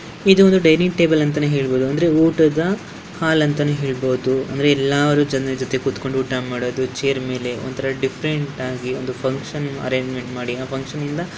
ಇದೊಂದು dining table ಅಂತನೆ ಹೇಳಬಹುದು ಅಂದ್ರೆ ಊಟದ ಹಾಲ್ ಅಂತನೆ ಹೇಳಬಹುದು ಅಂದ್ರೆ ಎಲ್ಲಾರು ಜನ್ರ ಜೊತೆ ಕೂತಕೊಂಡ ಊಟ ಮಾಡೋದು ಚೇರ್ ಮೇಲೆ ಒಂತರ ಡಿಫರೆಂಟ್ ಆಗಿ ಒಂದು ಫಕ್ಷನ್ ಅರೆಂಜ್ಮೆಂಟ್ ಮಾಡಿ ಏನೋ ಫಕ್ಷನ್ ಯಿಂದ --